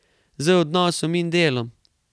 Z odnosom in delom.